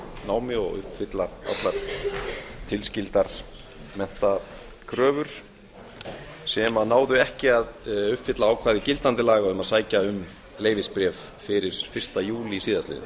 námi og uppfylla allar tilskildar menntakröfur sem náðu ekki að uppfylla ákvæði gildandi laga um að sækja um leyfisbréf fyrir fyrsta júlí síðastliðinn